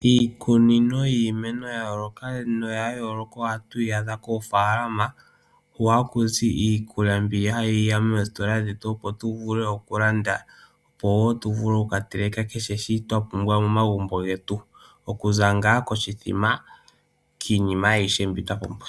Iikunino yiimeno yayoolokathana ohatu yi adha koofaalama , hu haku zi iikulya mbi hayi ya moositola dhetu opo yivule okulanda , opo woo tuvule okukateleka kehe shi twa pumbwa momagumbo getu. Okuza ngaa koshithima nayilwe.